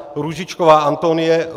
Růžičková Antonie